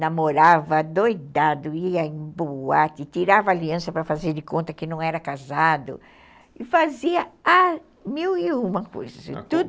namorava doidado, ia em boate, tirava aliança para fazer de conta que não era casado e fazia mil e uma coisas.